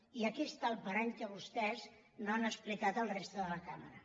i aquí està el parany que vostès no han expli·cat a la resta de la cambra